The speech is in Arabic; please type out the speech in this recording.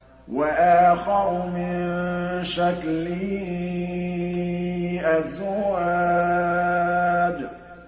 وَآخَرُ مِن شَكْلِهِ أَزْوَاجٌ